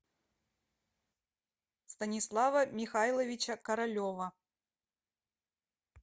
станислава михайловича королева